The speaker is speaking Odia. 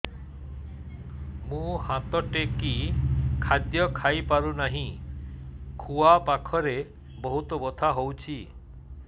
ମୁ ହାତ ଟେକି ଖାଦ୍ୟ ଖାଇପାରୁନାହିଁ ଖୁଆ ପାଖରେ ବହୁତ ବଥା ହଉଚି